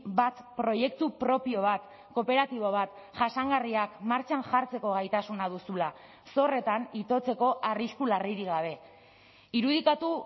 bat proiektu propio bat kooperatibo bat jasangarriak martxan jartzeko gaitasuna duzula zorretan itotzeko arrisku larririk gabe irudikatu